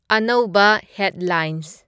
ꯑꯅꯧꯕ ꯍꯦꯗꯂꯥꯏꯟꯁ